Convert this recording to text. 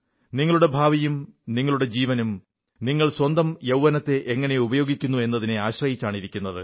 നിങ്ങളുടെ ഭാവിയും നിങ്ങളുടെ ജീവനും നിങ്ങൾ സ്വന്തം യൌവ്വനത്തെ എങ്ങനെ ഉപയോഗിക്കുന്നു എന്നതിനെ ആശ്രയിച്ചാണിരിക്കുന്നത്